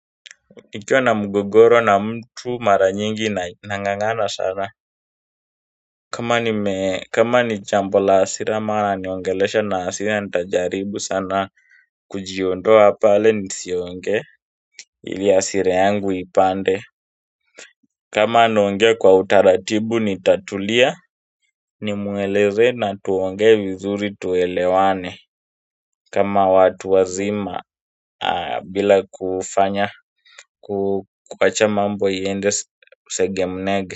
Nikiwa na mgogoro na mtu mara nyingi na nang'ang'ana sana kama nime kama ni jambo la hasira ama ananiongelesha na hasira nitajaribu sana kujiondoa pale nisiongee ili hasira yangu ipande kama anaongea kwa utaratibu nitatulia. Nimueleze na tuongee vizuri tuelewane kama watu wazima bila kufanya ku kuwacha mambo yaende segemnege.